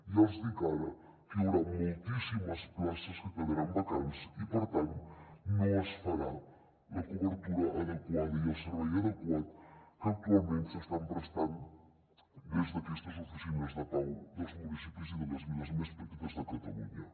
ja els dic ara que hi haurà moltíssimes places que quedaran vacants i per tant no es farà la cobertura adequada ni el servei adequat que actualment s’estan prestant des d’aquestes oficines de pau dels municipis i de les viles més petites de catalunya